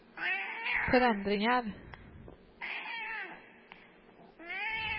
förändringar